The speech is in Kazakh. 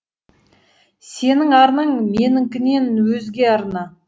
сенің арнаң менікінен өзге арна